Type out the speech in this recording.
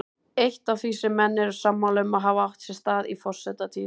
Eitt af því sem menn eru sammála um að hafi átt sér stað í forsetatíð